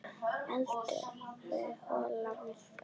Eldaðu holla máltíð.